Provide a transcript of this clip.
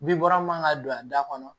Bin bɔra min man kan ka don a da kɔnɔ